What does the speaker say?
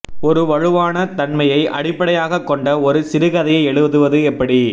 ஒரு வலுவான தன்மையை அடிப்படையாகக் கொண்ட ஒரு சிறுகதையை எழுதுவது எப்படி